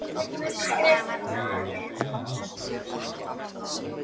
Það var dálítið erfitt að dansa á svona stórum skóm.